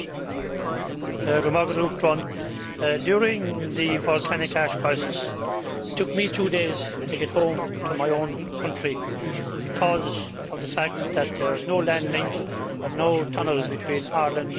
Mr President, during the volcanic ash crisis, it took me two days to get home to my own country because of the fact that there is no land link and no tunnel between Ireland and England.